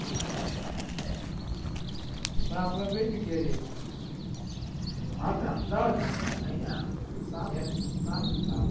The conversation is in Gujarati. પણ આપણે કઈ જગ્યા એ જઈશું? આપણે અમદાવાદમાં આપણે અહીંયા ટાપુ ટાપુ